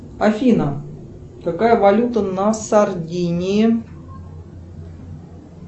афина какая валюта на сардинии